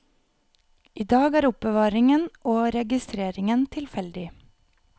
I dag er er oppbevaringen og registreringen tilfeldig.